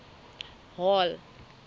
hall